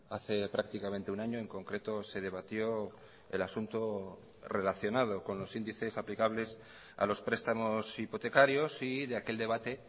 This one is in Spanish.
hace prácticamente un año en concreto se debatió el asunto relacionado con los índices aplicables a los prestamos hipotecarios y de aquel debate